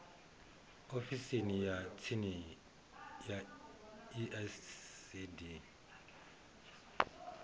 ofisini ya tsini ya icd